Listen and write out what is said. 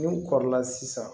N'u kɔrɔla sisan